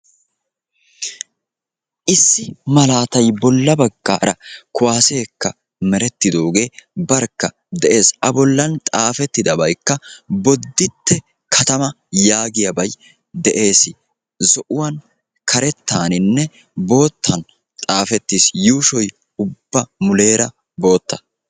Issi malaatay bolla baggaara kuwaasseekka merettidoogee barkka de'ees. A bollan xaafettidabaykka "bodditte katamaa" yaagiyaabay de'ees. Zo"uwan, karettaaninne boottan xaafettis. Yuushoy ubba muleera bootta.